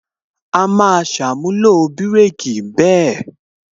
A máa ṣàmúlò bireki bẹ́ẹ̀